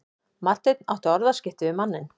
Marteinn átti orðaskipti við manninn.